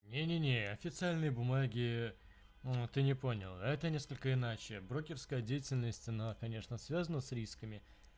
не не не официальные бумаги ты не понял это несколько иначе брокерская деятельность она конечно связана с рисками